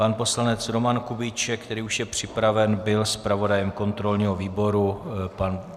Pan poslanec Roman Kubíček, který už je připraven, byl zpravodajem kontrolního výboru.